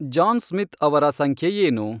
John Smith ಅವರ ಸಂಖ್ಯೆ ಏನು?